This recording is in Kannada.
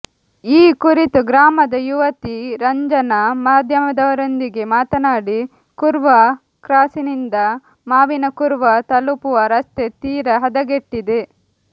ಈ ಕುರಿತು ಗ್ರಾಮದ ಯುವತಿ ರಂಜನಾ ಮಾದ್ಯಮದವರೊಂದಿಗೆ ಮಾತನಾಡಿ ಖರ್ವಾ ಕ್ರಾಸಿನಿಂದ ಮಾವಿನಕುರ್ವಾ ತಲುಪುವ ರಸ್ತೆ ತೀರ ಹದಗೆಟ್ಟಿದೆ